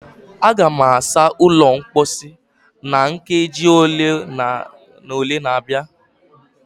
Aga m asa ụlọ mposi na nkeji ole na ole na-abịa